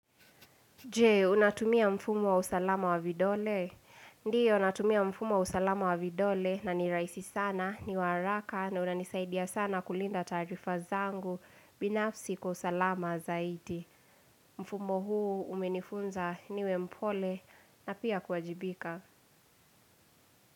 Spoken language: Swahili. Je, unatumia mfumo wa usalama wa vidole? Ndiyo, natumia mfumo wa usalama wa vidole na ni rahisi sana, ni wa haraka na unanisaidia sana kulinda taarifa zangu binafsi kwa usalama zaidi. Mfumo huu umenifunza niwe mpole na pia kuwajibika.